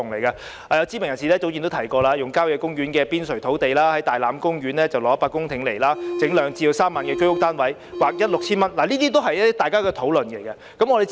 有知名人士早前曾提出使用郊野公園的邊陲土地，在大欖公園撥地100公頃興建兩三萬個居屋單位，並把呎價劃一為 6,000 元等。